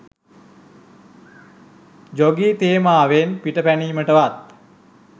ජෝගේ තේමාවෙන් පිටපැනීමටවත්